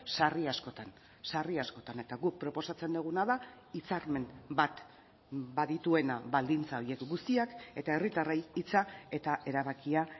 sarri askotan sarri askotan eta guk proposatzen duguna da hitzarmen bat badituena baldintza horiek guztiak eta herritarrei hitza eta erabakia